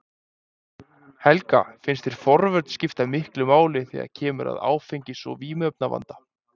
Helga: Finnst þér forvörn skipta miklu máli þegar kemur að áfengis- og vímuefnavanda?